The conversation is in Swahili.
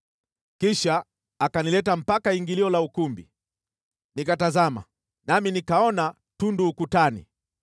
Kisha akanileta mpaka ingilio la ukumbi. Nikatazama, nami nikaona tundu ukutani.